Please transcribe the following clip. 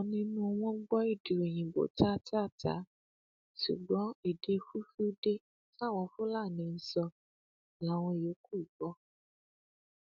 ọkan nínú wọn gbọ èdè òyìnbó táátáatáa ṣùgbọn èdè fulfilde táwọn fúlàní ń sọ láwọn yòókù gbọ